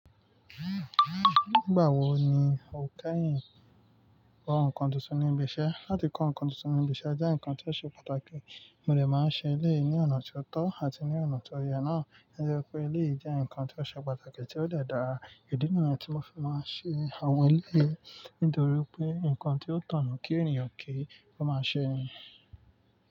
Nígbà wo ni o kẹ́yìn kó ǹkan tuntun ní ibi iṣẹ́? Láti kó ǹkan tuntun ní ibi iṣẹ́ jẹ́ ǹkan tí ó ṣe pàtàkì, mo dẹ̀ máa ń ṣe eléyìí ní ọ̀nà tí ó tọ́ àti ní ọ̀nà tó yẹ náà. Tó jẹ́ pé eléyìí jẹ́ ǹkan tí ó ṣe pàtàkì tí ó dẹ̀ dára. Ìdí nìyìí tí mo fi máa ń ṣe àwọn eléyìí nítorí wípé ǹkan tí ó kàn ni kí ènìyàn kí ó máa ṣe.